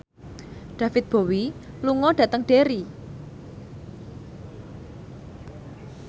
David Bowie lunga dhateng Derry